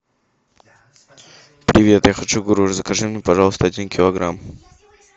привет я хочу груш закажи мне пожалуйста один килограмм